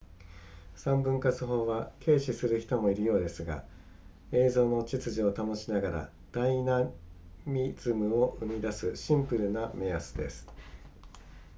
三分割法は軽視する人もいるようですが映像の秩序を保ちながらダイナミズムを生み出すシンプルな目安です